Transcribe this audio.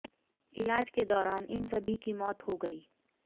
इलाज के दौरान इन सभी की मौत हो गई